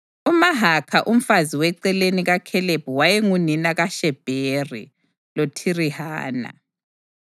UMahakha umfazi weceleni kaKhalebi wayengunina kaShebheri loThirihana.